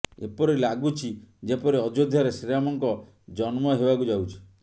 ଏପରି ଲାଗୁଛି ଯେପରି ଅଯୋଧ୍ୟାରେ ଶ୍ରୀରାମଙ୍କ ଜନ୍ମ ହେବାକୁ ଯାଉଛି